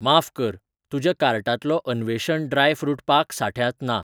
माफ कर, तुज्या कार्टांतलो अन्वेषण ड्राय फ्रुट पाक सांठ्यांत ना